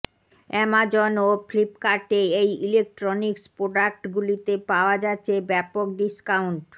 Amazon ও ফ্লিপকার্টে এই ইলেক্ট্রনিক্স প্রোডাক্ট গুলিতে পাওয়া যাচ্ছে ব্যপক ডিস্কাউন্ট